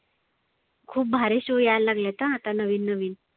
खुप भारी show यायला लागलेत अं आता नविन नविन.